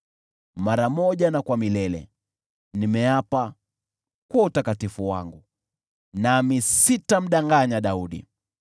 Mara moja na kwa milele, nimeapa kwa utakatifu wangu, nami sitamdanganya Daudi: